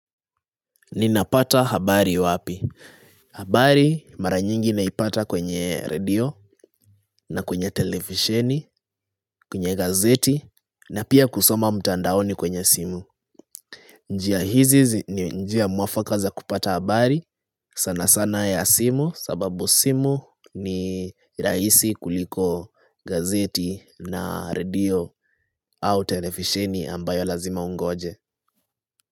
Ninapata habari wapi? Habari mara nyingi naipata kwenye radio na kwenye televisheni, kwenye gazeti na pia kusoma mtandaoni kwenye simu. Njia hizi ni njia mwafaka za kupata habari sana sana ya simu sababu simu ni rahisi kuliko gazeti na radio au televisheni ambayo lazima ungoje.